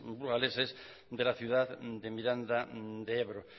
burgaleses de la ciudad de miranda de ebro